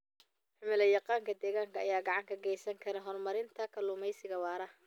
Cilmi-yaqaanka deegaanka ayaa gacan ka geysan kara horumarinta kalluumeysiga waara.